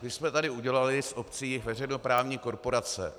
My jsme tady udělali z obcí veřejnoprávní korporace.